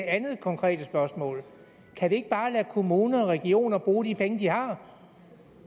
andet konkrete spørgsmål kan vi ikke bare lade kommuner og regioner bruge de penge de har